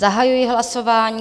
Zahajuji hlasování.